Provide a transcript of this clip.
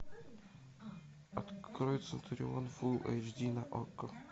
открой центурион фулл эйч ди на окко